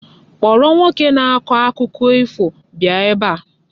Kpọrọ nwoke na-akọ akụkọ ifo bịa ebe a!